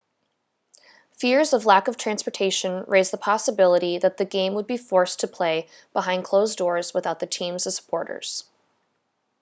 fears of lack of transportation raised the possibility that the game would be forced to play behind closed doors without the team's supporters